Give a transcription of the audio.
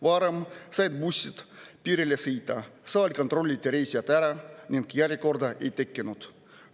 Varem said bussid piirile sõita, seal kontrolliti reisijad ära ning järjekorda ei tekkinud.